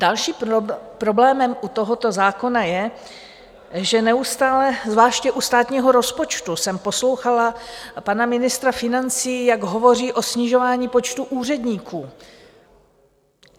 Dalším problémem u tohoto zákona je, že neustále, zvláště u státního rozpočtu jsem poslouchala pana ministra financí, jak hovoří o snižování počtu úředníků.